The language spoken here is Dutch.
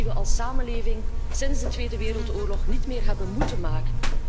Keuzes die we als samenleving sinds de Tweede Wereldoorlog niet meer hebben moeten maken.